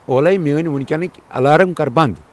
اولے میٲنۍ وۄنۍ کینٕکۍ الارم کٔر بنٛد۔